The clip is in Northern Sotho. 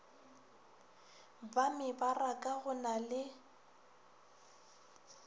ba mebaraka go na le